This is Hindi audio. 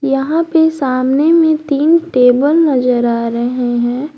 यहां पे सामने में तीन टेबल नजर आ रहे हैं।